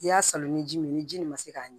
I y'a salo ni ji min ni ji nin ma se k'a ɲi